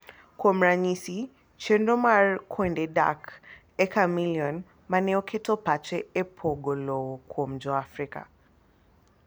Kuom ranyisi chenro mar kuonde dak ekar milion ma ne oketo pache e pogo lowo kuom joafrika